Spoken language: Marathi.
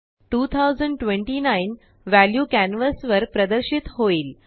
2029व्ह्याल्यूकॅनवासवर प्रदर्शित होईल